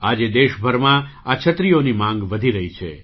આજે દેશભરમાં આ છત્રીઓની માગ વધી રહી છે